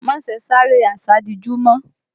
Má ṣe sáré àsádijú mọ́!